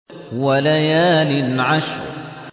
وَلَيَالٍ عَشْرٍ